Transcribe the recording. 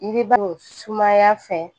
I bɛ balo sumaya fɛ